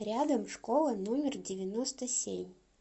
рядом школа номер девяносто семь